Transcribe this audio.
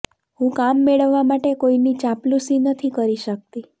હું કામ મેળવવા માટે કોઈની ચાંપલૂસી નથી કરી શકતી